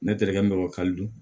Ne terikɛ bɛ